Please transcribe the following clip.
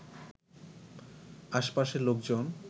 আশপাশের লোকজন